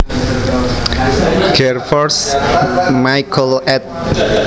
Gervers Michael ed